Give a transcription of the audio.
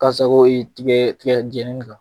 Ka sago tigɛɛ tigɛjɛni kan.